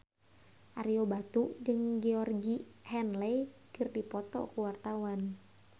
Ario Batu jeung Georgie Henley keur dipoto ku wartawan